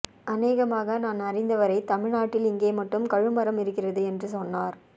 அநேகமாக நான் அறிந்தவரை தமிழ்நாட்டில் இங்கே மட்டுமே கழுமரம் இருக்கிறது என்று சொன்னார்